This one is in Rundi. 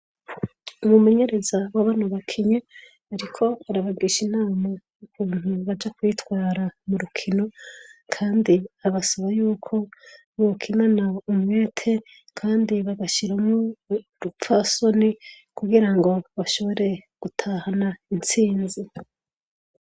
Umumenyerereza wa bano bakinyi ariko arabagisha inama y'ukuntu baja kwitwara mu rukino kandi abasaba yuko bokinana umwete kandi bagashiramwo urupfasoni kugira ngo bashobore gutahana intsinzi.